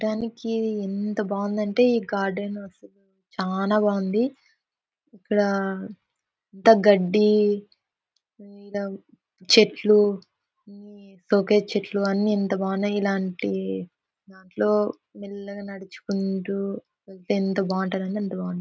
చూడ్డానికి ఎంత బాగుందంటే ఈ గార్డెన్ సు- చానా బాగుంది. ఇక్కడ గడ్డి ఇడ చెట్లు ఇట్స్ ఒకే చెట్లు అన్ని ఎంత బాగున్నాయ్. ఇలాంటి దాంట్లో మెల్లగ నడుచుకుంటూ ఎంత బాగుంటదంటే అంత బాగుంటది.